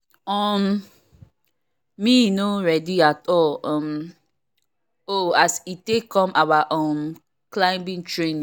um me no ready at all um o as e take come our um climbing training